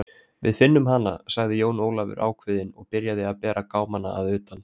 Við finnum hana, sagði Jón Ólafur ákveðinn og byrjaði að berja gámana að utan.